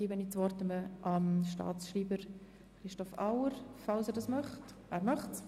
Der Staatsschreiber hat das Wort, wenn er es möchte.